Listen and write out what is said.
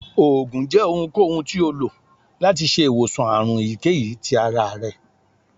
oògùn jẹ ohunkohun ti o lo lati ṣe iwosan àrùn eyikeyí tí àrá rẹ